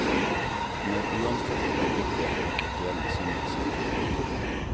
Hun er uanfektet av bitterhet og intellektuell misunnelse. punktum